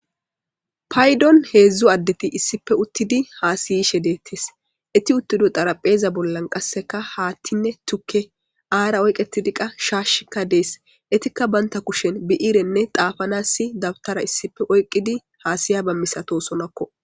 Paydon heedzdzu addeti issife uttidi haasiyishe deettis iti uttido xarapheeza bollan qasseka haattinne tuke aara oyqetidi qa shaashikka dees etikka baynta kushen bi'iirenne xaafanassi dabtara issife oyqqidi haasiya ba misato sonakko.